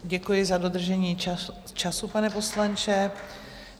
Děkuji za dodržení času, pane poslanče.